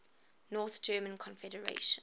north german confederation